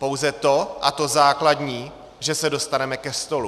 Pouze to, a to základní, že se dostaneme ke stolu.